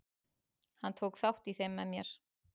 Hann tók þátt í þeim með mér.